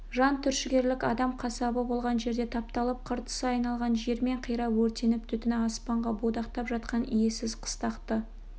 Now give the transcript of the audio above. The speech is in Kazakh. жан түршігерлік адам қасабы болған жерде тапталып қыртысы айналған жермен қирап өртеніп түтіні аспанға будақтап жатқан иесіз қыстақты